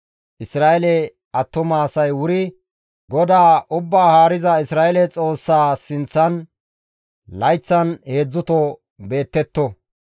Isra7eele attuma asay wuri GODAA Ubbaa Haariza Isra7eele Xoossaa sinththan layththan heedzdzuto beettetto.